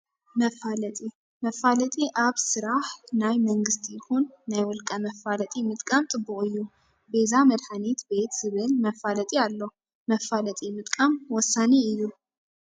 መፋለጢ፦ መፋለጢ ኣብ ስራሕ ናይ መንግስቲ ይኩን ናይ ውልቀ መፋለጢ ምጥቃም ፅቡቅ እዩ። ቤዛ መድሓኒት ቤት ዝብል መፋለጢ ኣሎ። መፋለጢ ምጥቃም ወሳኒ እዩ።